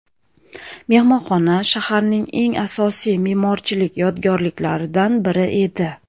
Mehmonxona shaharning eng asosiy me’morchilik yodgorliklaridan biri edi.